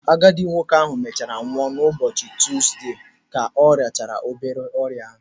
Agadi nwoke ahụ mechaara nwụọ n'ụbọchị Tuuzde ka ọ rịachara ọrịa obere.